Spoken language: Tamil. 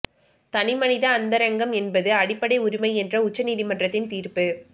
தனி மனித அந்தரங்கம் என்பது அடிப்படை உரிமை என்ற உச்ச நீதிமன்றத்தின் தீர்ப்பு